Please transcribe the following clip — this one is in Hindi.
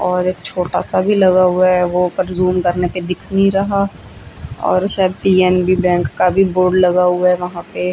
और एक छोटा सा भी लगा हुआ है वो पर जूम करने पर दिख नहीं रहा और शायद पी_एन_बी बैंक का भी बोर्ड लगा हुआ है वहां पे--